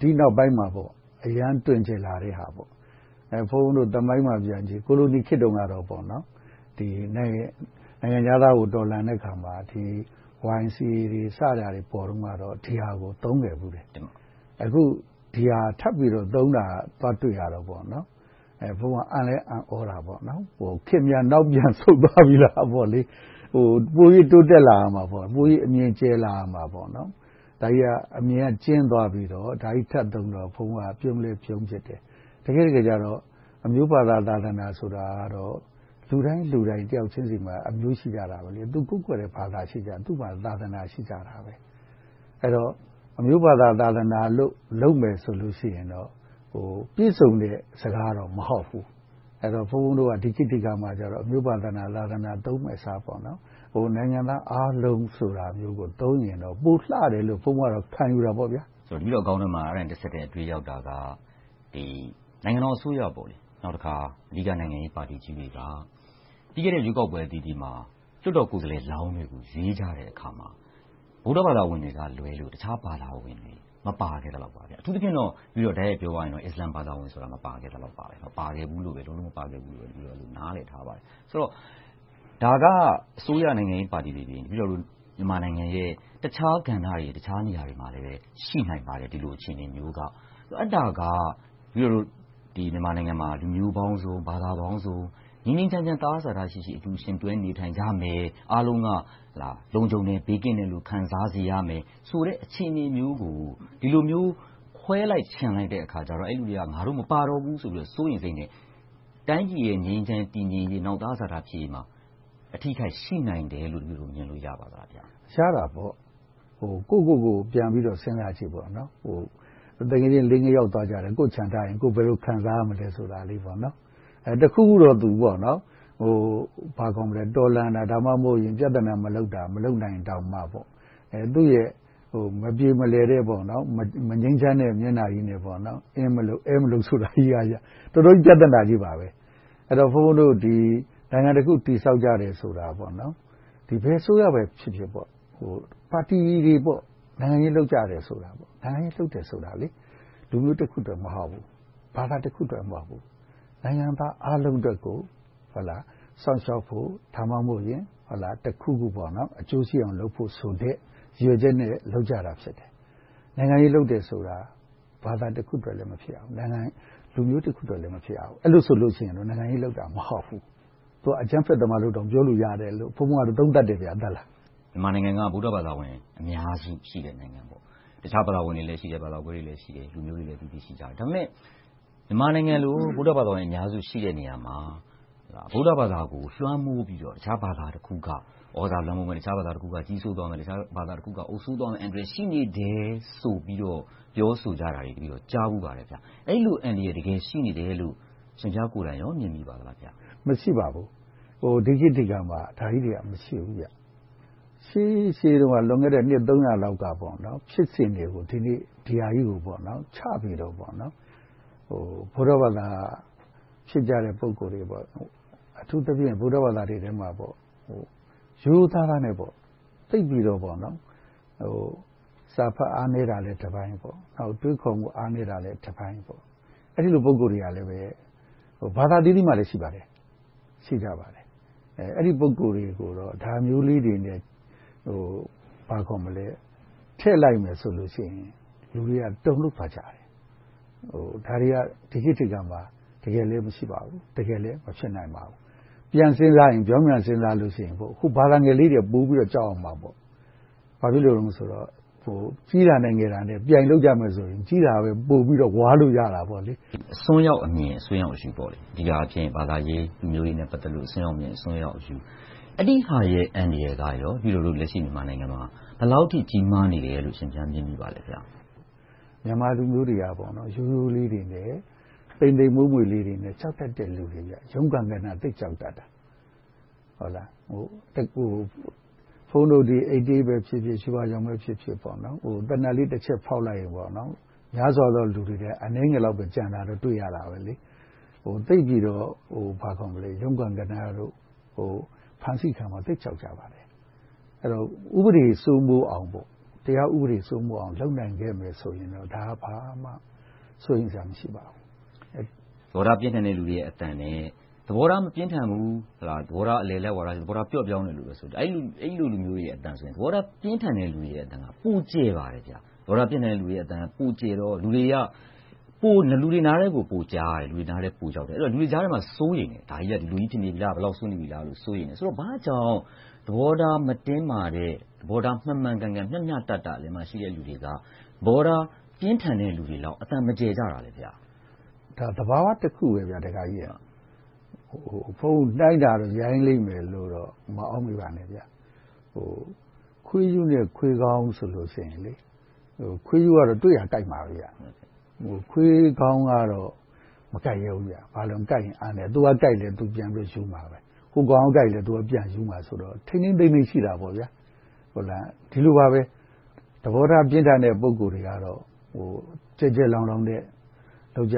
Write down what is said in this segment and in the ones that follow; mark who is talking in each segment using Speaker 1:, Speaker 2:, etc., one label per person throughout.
Speaker 1: ဒီနောက်ပိုင်းမှာ အရမ်းတွင်ကျယ်လာတဲ့ အသုံးပေါ့။ ဘုန်းဘုန်းတို့ သမိုင်းကိုပြန်ကြည့် - ကိုလိုနီခေတ်တုန်းကတော့ နိုင်ငံခြားသားကို တော်လှန်တဲ့အခါမှာ YMCA တို့ စပေါ်တုန်း ဒီဟာကို သုံးခဲ့ဖူးတယ်။ အခု ဒီဟာကို ထပ်ပြီးတော့ သုံးတာကို တွေ့ရတယ်။ ဘုန်းဘုန်းအနေနဲ့ အံ့လည်းအံ့ကြတယ်။ ခေတ်များနောက်ပြန်ဆုတ်သွားပြီလားပေါ့။ ပိုပြီးတိုးတက်လာရမှာပေါ့။ ပိုပြီးအမြင်ကျယ်လာရမှာပေါ့။ ဒီဟာက အမြင်ကကျဉ်းသွားပြီးတော့ ဒါကိုထပ်သုံးတော့ ဘုန်းဘုန်းအနေနဲ့ ပြုံးလည်းပြုံးဖြစ်တယ် - တကယ့်တကယ်ကြတော့ အမျိုးဘာသာ၊ သာသနာဆိုတာ လူတိုင်းလူတိုင်း တယောက်ချင်းဆီမှာ အမျိုးရှိကြတယ်။ ကိုးကွယ်တဲ့ ဘာသာတရား ရှိကြတယ်။ သာသနာ ရှိကြတယ်။ အဲဒီတော့ အမျိုးဘာသာ၊ သာသနာကို လုပ်မယ်ဆိုလို့ရှိရင်တော့ ပြည့်စုံတဲ့စကားတော့ မဟုတ်ဘူး။ ဘုန်းဘုန်းတို့က ဒီခေတ်ဒီအခါမှာကြတော့ အမျိုးဘာသာ၊ သာသနာ သုံးမယ့်အစား နိုင်ငံသားအားလုံးဆိုတာမျိုးကို သုံးမယ်ဆိုရင်တော့ ပိုလှတယ်လို့ ဘုန်းဘုန်းကတော့ ခံယူတယ်။
Speaker 2: တပည့်တော်ခေါင်းထဲမှာ အဲဒါနဲ့တဆက်တည်း အတွေးရောက်တာက နိုင်ငံတော်အစိုးရနဲ့ အဓိကနိုင်ငံရေးပါတီကြီးတွေက ပြီးခဲ့တဲ့ ရွေးကောက်ပွဲအသီးသီးမှာ လွှတ်တော်ကိုယ်စားလှယ်လောင်းတွေ ရွေးကြတဲ့အခါမှာ ဗုဒ္ဓဘာသာဝင်တွေကလွဲလို့ အခြားဘာသာဝင်တွေ မပါခဲ့သလောက်။ အထူးသဖြင့် တိုက်ရိုက်ပြောရရင် အစ္စလာမ်ဘာသာဝင်တွေ မပါခဲ့သလောက်ပါပဲ။ မပါဘူးလို့ပဲ နားလည်ထားပါတယ်။ ဆိုတော့ ဒါက အစိုးရနိုင်ငံရေးပါတီတွေ၊ မြန်မာနိုင်ငံရဲ့ တခြားကဏ္ဍတွေ၊ တခြားဒေသမှာလည်း ရှိနိုင်ပါတယ် - ဒီလိုအခြေအနေမျိုးက - အဲဒါက တပည့်တော်မြန်မာနိုင်ငံမှာ လူမျိုးပေါင်းစုံ၊ ဘာသာပေါင်းစုံ ငြိမ်းငြိမ်းချမ်းချမ်း၊ သဟဇာတ ရှိရှိ အတူယှဉ်တွဲနေထိုင်ကြမယ်၊ အားလုံးက လုံခြုံတယ် ဘေးကင်းတယ်လို့ ခံစားရတယ်ဆိုတဲ့ အခြေအနေမျိုးကို ဒီလိုမျိုး ခွဲလိုက်ချင်လိုက်တော့ အဲဒီလူတွေက ငါတို့မပါတော့ဘူးဆိုပြီး စိုးရိမ်စိတ်နဲ့ တိုင်းပြည်ရဲ့ ငြိမ်းချမ်းရေး၊ တည်ငြိမ်ရေး၊ သဟဇတ ဖြစ်ရေးမှာ အထိအခိုက် ရှိနိုင်တယ်လို့ မြင်လို့ရနိုင်ပါလား။
Speaker 1: ရနိုင်တာပေါ့။ ကိုယ့်ကိုယ်ကို ပြန်ပြီးတော့ စဉ်းစားကြည့်ပေါ့။ သူငယ်ချင်းလေးယောက်သွားတယ်။ ကိုယ့်ကိုချန်ထားရင် ဘယ်လိုခံစားရမယ်ဆိုတာလေး။ တခုခုတော့ တော်လှန်တာ၊ ပြဿနာ မလုပ်တောင်မှ သူ့ရဲ့ မပြေမလည်တဲ့၊ မငြိမ်းချမ်းတဲ့ မျက်နှာကြီးနဲ့ အင်းမလုပ်၊ အဲမလုပ် ဆိုတာကြီး - တော်တော်လေး ပြဿနာကြီးပါ။ အဲဒီတော့ ဘုန်းဘုန်းတို့ နိုင်ငံတခု တည်ဆောက်တဲ့အခါ ဘယ်အစိုးရပဲဖြစ်ဖြစ်၊ ပါတီတွေ နိုင်ငံရေးလုပ်ကြတယ်ဆိုတာ လူမျိုးတခုအတွက် မဟုတ်ဘူး။ ဘာသာတခုအတွက် မဟုတ်ဘူး။ နိုင်ငံသားအားလုံးအတွက်ကို စောင့်ရှောက်ဖို့၊ ဒါမှမဟုတ်ရင် တခုခု အကျိုးရှိအောင်လုပ်ဖို့ဆိုတဲ့ ရည်ရွယ်ချက်နဲ့ လုပ်ကြတာဖြစ်တယ်။ နိုင်ငံရေးလုပ်တယ်ဆိုတာ ဘာသာတခုအတွက်လည်း မဖြစ်ရဘူး။ လူမျိုးတခုအတွက်လည်း မဖြစ်ရဘူး။ အဲဒီလိုလုပ်ရင် နိုင်ငံရေးလုပ်တာ မဟုတ်ဘူး။ သူက အကြမ်းဖက်သမားလိုတောင် ပြောလို့ရတယ်လို့ ဘုန်းဘုန်းက အဲဒီလိုသုံးသပ်ပြောချင်တယ်။
Speaker 2: မြန်မာနိုင်ငံက ဗုဒ္ဓဘာသာဝင် အများစုရှိတဲ့ နိုင်ငံပါ။ တခြားဘာသာဝင်ကွဲတွေ ရှိတယ်။ လူမျိုးတွေလည်း အသီးသီးရှိကြတယ်။ ဒါပေမဲ့ မြန်မာနိုင်ငံလို ဗုဒ္ဓဘာသာဝင် အများစုရှိတဲ့ နေရာမှာ ဗုဒ္ဓဘာသာကို လွှမ်းမိုးပြီးတော့ တခြားဘာသာတခုခုက သြဇာလွှမ်းမိုးမယ်။ တခြားဘာသာတခုက ကြီးစိုးသွားမယ်။ တခြားဘာသာအုပ်စိုးသွားမယ် ရှိနေတယ်ဆိုပြီး ပြောဆိုကြတာကို တပည့်တော် ကြားဖူးပါတယ်။ အဲဒီလို အန္တရာယ် တကယ်ရှိနေတယ်လို့ အရှင်ဘုရားကိုယ်တိုင် မြင်မိပါသလား။
Speaker 1: မရှိပါဘူး။ ဒီခေတ်ဒီအခါမှာ ဒါကြီးတွေက မရှိဘူး။ ရှေးရှေးတုန်းက လွန်ခဲ့တဲ့နှစ်သုံးရာလောက်က ဖြစ်စဉ်တွေက ဒီနေ့ဒီဟာကြီးကို ချပြီးတော့ ဗုဒ္ဓဘာသာ ဖြစ်ကြတဲ့ ပုဂ္ဂိုလ်တွေ၊ အထူးသဖြင့် ဗုဒ္ဓဘာသာတွေထဲမှာ ရိုးရိုးသားသားနဲ့ သိပ်ပြီးတော့ စာဖတ်အားနည်းတာလဲ တပိုင်း။ နောက် အတွေးအခေါ်မှု အားနည်းတာလဲတပိုင်း အဲဒီလို ပုဂ္ဂိုလ်တွေကလဲ ဘာသာအသီးသီးမှာလည်း ရှိပါတယ်။ အဲဒီ ပုဂ္ဂိုလ်တွေကိုတော့ ဒါမျိုးလေးတွေနဲ့ ချဲ့လိုက်မယ်ဆိုလို့ရှိရင် လူတွေက တုန်လှုပ်သွားကြတယ်။ ဒါတွေက ဒီခေတ်ဒီအခါမှာ တကယ်လဲ မရှိပါဘူး။ တကယ်လဲ မဖြစ်နိုင်ပါဘူး။ ဗြောင်းပြန်ပြန်စဉ်းစားကြည့်ရင် ဘာသာငယ်လေးတွေက ပိုပြီးတော့ ကြောက်ရမှာပေါ့။ ဘာဖြစ်လို့လဲဆိုတော့ ကြီးတာနဲ့ငယ်တာ ပြိုင်ကြမယ်ဆိုရင် ကြီးတာပဲ ပိုပြီးတော့ ဝါးလို့ရတာပေ့ါ။
Speaker 2: အစွန်းရောက်အမြင်၊ အစွန်းရောက်အယူ - ဒီဟာဖြစ် ဘာသာရေး၊ လူမျိုးရေး ပတ်သက်လို့ အစွန်းရောက်အမြင်၊ အစွန်းရောက်အယူ အဲဒီဟာတွေရဲ့ အန္တရာယ်က တပည့်တော်တို့ လက်ရှိမြန်မာနိုင်ငံမှာ ဘယ်လောက်အထိ ကြီးမားနေတယ်လို့ အရှင်ဘုရား မြင်မိပါလဲဘုရား။
Speaker 1: မြန်မာလူမျိုးတွေက ရိုးရိုးလေးတွေနဲ့ သိမ်သိမ်မွှေ့မွှေ့လေးတွေနဲ့ ကြောက်တတ်တဲ့ လူတွေ။ ရုံးကနား သိပ်ကြောက်တတ်တာ။ ဘုန်းဘုန်းတို့ ၈၈ ဖြစ်ဖြစ်၊ ရွှေဝါရောင်ပဲဖြစ်ဖြစ် သေနတ်လေးတချက်ဖောက်လိုက်ရင် များစွာသောလူတွေအနက် အနည်းငယ်ပဲ ကျန်နေတတ်တယ်။ သိပ်ပြီးတော့ ရုံးကနားတို့၊ ဖမ်းဆီးခံရမှာကို သိပ်ကြောက်ကြတယ်။ အဲဒီတော့ ဥပဒေစိုးမိုးအောင်၊ တရားဥပဒေစိုးမိုးအောင် လုပ်နိုင်ခဲ့မယ်ဆိုရင်တော့ ဒါက ဘာမှစိုးရိမ်စရာ မရှိပါဘူး။
Speaker 2: သဘောထားပြင်းထန်တဲ့ လူတွေရဲ့ အသံနဲ့ သဘောထား မပြင်းထန်ဘူး၊ သဘောထား အလယ်အလတ် - သဘောထားပျော့ပျောင်းတဲ့လူတွေရဲ့ အသံဆိုရင် သဘောထားပြင်းထန်တဲ့ လူတွေရဲ့အသံက ပိုကျယ်နေပါတယ်။ သဘောထား ပြင်းထန်သူတွေရဲ့ အသံက ပိုကျယ်ပါတယ်။ သူတို့အသံက ပိုကျယ်တော့ လူတွေရဲ့ နားထဲကို ပိုကြားရပြီး လူတွေကြားထဲမှာ စိုးရိမ်မှုရှိလာတယ်။ ဒါကြီးက ဒီလိုဖြစ်နေပြီလား။ ဘယ်လောက်စိုးရိမ်ရလဲ.. ဘာကြောင့် သဘောထားမတင်းမာတဲ့ သဘောထားမှန်မှန်ကန်ကန်၊ မျှမျှတတ အလယ်မှာရှိတဲ့လူတွေက သဘောထား ပြင်းထန်တဲ့ လူတွေလောက် အသံမကျယ်ကြတာလဲ။
Speaker 1: ဒါက သဘာဝတခုပါပဲ။ နှိုင်းတာကတော့ ရိုင်းလိမ့်မယ်လို့တော့ မအောက်မေ့ပါနဲ့ - ခွေးရုးနဲ့ ခွေးကောင်းဆိုရင် ခွေးရူးကတော့ တွေ့ကရာကိုက်မှာပဲ။ ခွေးကောင်းကတော့ မကိုက်ရဲဘူး။ သူကကိုက်ရင် သူပြန်ပြီးရူးမှာ။ ဟိုကောင်ကကိုက်လည်း သူကပြန်ရူးမှာဆိုတော့ ထိန်းထိန်းသိမ်းသိမ်း ရှိတယ်။ ဒီလိုပါပဲ သဘောထားပြင်းထန်တဲ့ ပုဂ္ဂိုလ်တွေကတော့ ကျယ်ကျယ်လောင်လောင်နဲ့ လုပ်ကြ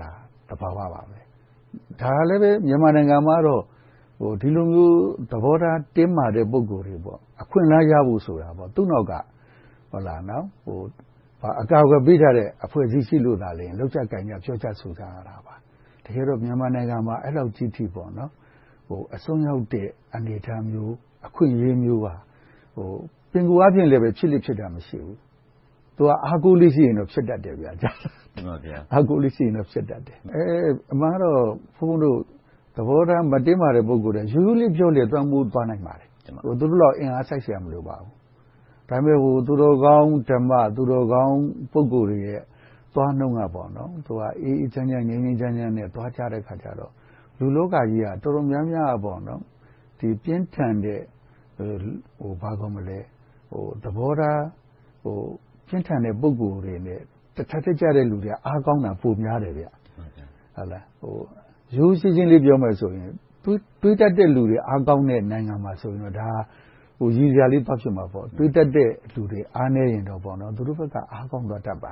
Speaker 1: တာ သဘာဝပါပဲ။ ဒါကလဲ မြန်မာနိုင်ငံမှာတော့ ဒီလိုမျိုး သဘောထားတင်းမာတဲ့ ပုဂ္ဂိုလ်တွေ အခွင့်အလမ်းရဖို့ဆိုတာ သူ့နောက်က အကာအကွယ်ပေးထားတဲ့ အဖွဲ့အစည်းရှိလို့သာ လုပ်ကြကိုင်ကြ၊ ပြောကြဆိုကြတာ။ တကယ်တော့ မြန်မာနိုင်ငံမှာ အဲဒီလောက်အထိ အစွန်းရောက်တဲ့ အနေအထားမျိုး၊ အခွင့်အရေးမျိုးက ပင်ကိုယ်အားဖြင့်လဲ ဖြစ်လေ့ဖြစ်ထ မရှိဘူး။ သူက အားကိုးလေးရှိရင် ဖြစ်တတ်တယ်။ အမှန်ကတော့ ဘုန်းဘုန်းတို့ သဘောထား မတင်းမာ ပုဂ္ဂိုလ်တွေက ရိုးရိုးလေးပြောကြပြီး ပံ့ပိုးသွားနိုင်ပါတယ်။ သူတို့လောက် အင်အားစိုက်စရာ မလိုပါဘူး။ ဒါပေမဲ့ သူတော်ကောင်း ဓမ္မ၊ သူတို့ကောင်း ပုဂ္ဂိုလ်တွေရဲ့ သွားနှုန်းက အေးအေးချမ်းချမ်း၊ ငြိမ်းငြိမ်းချမ်းချမ်း သွားကြတဲ့အခါကြတော့ လူလောကကြီးက တော်တော်များများ ပြင်းထန်တဲ့ သဘောထားပြင်းထန်တဲ့ ပုဂ္ဂိုလ်တွေ တထပ်တည်းကျတဲ့ လူတွေက အားကောင်းတာ ပိုများတယ်။ ရိုးရိုးရှင်းရှင်းလေး ပြောမယ်ဆိုရင် တွေးတတ်တဲ့လူတွေ အားကောင်းတဲ့နိုင်ငံမှာဆိုရင်တော့ ဒါက ရယ်စရာလေး သွားဖြစ်မှာပေါ့။ တွေးတတ်တဲ့ လူတွေအားနည်းရင်တော့ သူတို့ဘက်က အားကောင်းသွားတတ်ပါ